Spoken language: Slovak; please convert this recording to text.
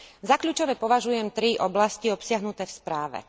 Za kľúčové považujem tri oblasti obsiahnuté v správe.